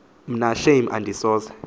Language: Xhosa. mna shame andisoze